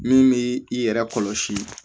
Min bɛ i yɛrɛ kɔlɔsi